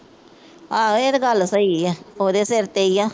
ਆਹੋ ਇਹ ਤੇ ਗੱਲ ਸਹੀ ਆ। ਉਹਦੇ ਸਿਰ ਤੇ ਹੀ।